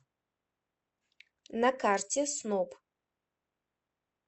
на карте сноб